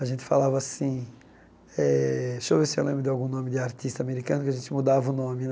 A gente falava assim eh... Deixa eu ver se lembro de algum nome de artista americano, que a gente mudava o nome né.